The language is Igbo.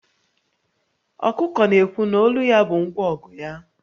Ọkụkọ na-ekwu na olu ya bụ ngwa ọgụ ya